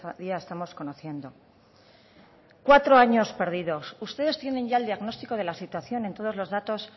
día estamos conociendo cuatro años perdidos ustedes tienen ya el diagnóstico de la situación en todos los datos